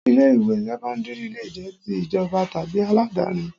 Ilé ìwé sẹ́kọ́ńdírì lè jẹ́ ti ìjọba tàbí aládáni